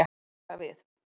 Ekta við.